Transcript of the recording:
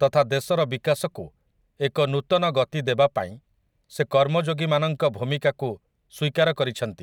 ତଥା ଦେଶର ବିକାଶକୁ ଏକ ନୂତନ ଗତି ଦେବା ପାଇଁ ସେ କର୍ମଯୋଗୀମାନଙ୍କ ଭୂମିକାକୁ ସ୍ୱୀକାର କରିଛନ୍ତି ।